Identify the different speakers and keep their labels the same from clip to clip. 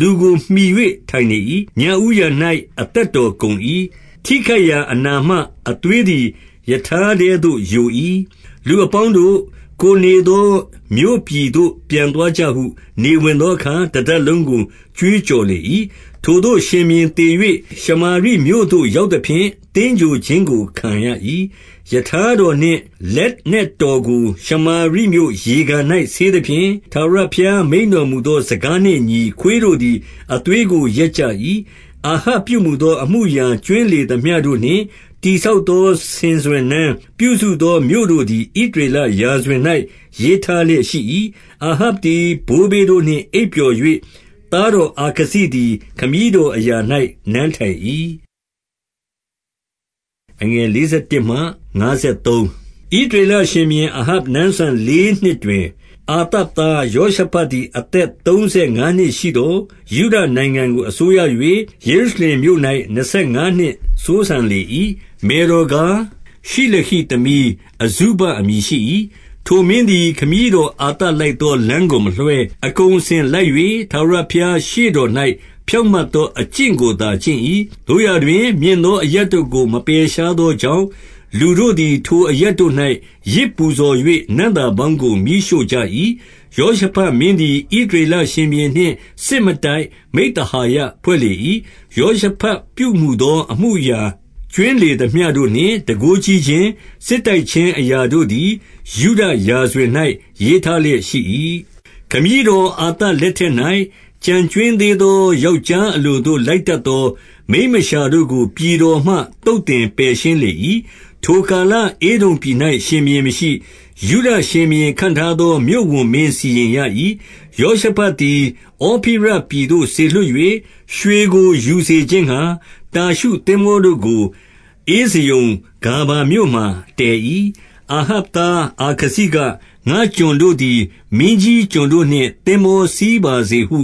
Speaker 1: လူကိုမှီ၍ ထိုင်နေ၏။ ညဦးယံ၌ အသက်တော်ကုန်၏။ ထိခိုက်ရာ အနာမှ အသွေးသည်ရထားထဲသို့ယို၏။ 36 လူအပေါင်းတို့၊ ကိုယ်နေသော မြို့ပြည်သို့ ပြန်သွားကြဟု နေဝင်သောအခါ တတပ်လုံးကို ကြွေး ကြော်လေ၏။ 37 ထိုသို့ရှင်ဘုရင်သေ၍ ရှမာရိမြို့သို့ ရောက် သဖြင့် သင်္ဂြိုဟ်ခြင်းကို ခံရ၏။ 38 ရထားတော်နှင့် လက်နက်တော်ကို ရှမာရိမြို့ ရေကန်၌ ဆေးသဖြင့်၊ ထာဝရဘုရားမိန့်တော်မူသော စကားနှင့်အညီခွေးတို့သည် အသွေးကို လျက်ကြ၏။ 39 အာဟပ်ပြုမူသော အမှုအရာကြွင်းလေသမျှ တို့နှင့် တည်ဆောက်သော ဆင်စွယ်နန်း၊ ပြုစုသောမြို့တို့ သည် ဣသရေလရာဇဝင်၌ ရေးထားလျက်ရှိ၏။ 40 အာဟပ်သည် ဘိုးဘေးတို့နှင့်အိပ်ပျော်၍၊ သားတော်အာခဇိသည် ခမည်းတော်အရာ၌ နန်းထိုင်၏။ 41 ဣသရေလရှင်ဘုရင် အာဟပ်နန်းစံလေးနှစ် တွင် အာသသား ယောရှဖတ်သည် အသက်သုံးဆယ် ငါးနှစ်ရှိသော် ယုဒနိုင်ငံကို အစိုးရ၍၊ 42 ယေရုရှလင်မြို့၌ နှစ်ဆယ်ငါးနှစ်စိုးစံလေ၏။ မယ်တော်ကား ရှိလဟိသမီးအဇုဘအမည်ရှိ၏။ 43 ထိုမင်းသည်ခမည်းတော် အာသလိုက်သော လမ်းကိုမလွှဲ၊ အကုန်အစင်လိုက်၍ ထာဝရဘုရား ရှေ့တော်၌ ဖြောင့်မတ်သော အကျင့်ကိုသာ ကျင့်၏။ သို့ရာတွင် မြင့်သောအရပ်တို့ကို မပယ်ရှားသောကြောင့်၊ လူတို့သည် ထိုအရပ်တို့၌ ယဇ်ပူဇော်၍ နံ့သာပေါင်းကို မီးရှို့ကြ၏။ 44 ယောရှဖတ်မင်းသည် ဣသရေလရှင်ဘုရင်နှင့် စစ်မတိုက် မိဿဟာယဖွဲ့လေ၏။ 45 ယောရှဖတ်ပြုမူသော အမှုအရာကြွင်းလေသမျှ တို့နှင့် တန်ခိုးကြီးခြင်း၊ စစ်တိုက်ခြင်းအရာတို့သည် ယုဒရာဇဝင်၌ ရေးထားလျက် ရှိ၏။ 46 ခမည်းတော်အာသလက်ထက်၌ ကျန်ကြွင်းသေး သော ယောက်ျားအလိုသို့ လိုက်တတ်သော မိန်းမလျှာ တို့ကို ပြည်တော်မှ သုတ်သင်ပယ်ရှင်းလေ၏။ 47 ထိုကာလ၊ ဧဒုံပြည်၌ ရှင်ဘုရင်မရှိ။ ယုဒ ရှင်ဘုရင်ခန့်ထားသော မြို့ဝန်မင်း စီရင်ရ၏။ 48 ယောရှဖတ်သည် ဩဖိရပြည်သို့ စေလွှတ်၍၊ ရွှေကို ယူစေခြင်းငှါ တာရှုသင်္ဘောတို့ကို ဧဇယုန်ဂါဗာမြို့ မှာ တည်၏။ 49 အာဟပ်သား အာခဇိက၊ ငါ့ကျွန်တို့သည် မင်းကြီးကျွန်တို့နှင့် သင်္ဘောစီးဝါစေဟု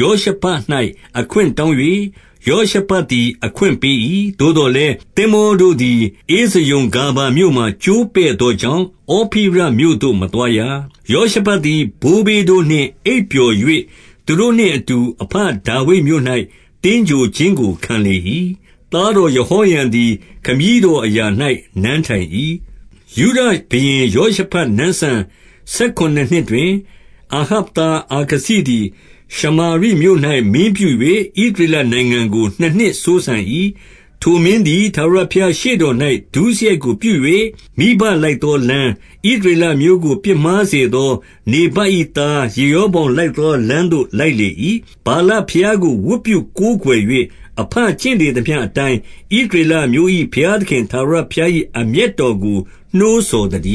Speaker 1: ယောရှဖတ်၌ အခွင့်တောင်း၍ ယောရှဖတ်သည် အခွင့်ပေး၏။ သို့သော် လည်း သင်္ဘောတို့သည် ဧဇယုန်ဂါဗာမြို့မှာ ကျိုးပဲ့သော ကြောင့်၊ ဩဖိရမြို့သို့ မသွားရ။ 50 ယောရှဖတ်သည် ဘိုးဘေးတို့နှင့် အိပ်ပျော်၍ သူတို့နှင့်အတူ အဘဒါဝိဒ်မြို့၌ သင်္ဂြိုဟ်ခြင်းကိုခံလေ၏။ သားတော်ယဟောရံသည် ခမည်းတော်အရာ၌ နန်းထိုင် ၏။ 51 ယုဒရှင်ဘုရင်ယောရှဖတ်နန်းစံ ဆယ်ခုနစ်နှစ် တွင်၊ အာဟပ်သားအာခဇိသည် ရှမာရိမြို့၌ မင်းပြု၍ ဣသရေလနိုင်ငံကို နှစ်နှစ်စိုးစံ၏။ 52 ထိုမင်းသည်ထာဝရဘုရားရှေ့တော်၌ ဒုစရိုက်ကို ပြု၍၊ မိဘလိုက်သောလမ်း၊ ဣသရေအမျိုးကို ပြစ်မှား စေသော နေဗတ်၏သား ယေရောဗောင်လိုက်သောလမ်းသို့ လိုက်လေ၏။ 53 ဗာလဘုရားကို ဝတ်ပြုကိုးကွယ်၍၊ အဘကျင့်လေသမျှအတိုင်း ဣသရေလအမျိုး၏ ဘုရားသခင် ထာဝရဘုရား၏ အမျက်တော်ကို နှိုးဆော်သတည